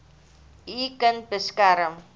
u kind beskerm